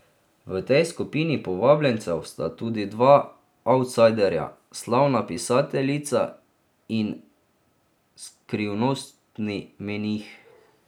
V tej skupini povabljencev sta tudi dva avtsajderja, slavna pisateljica in skrivnostni menih.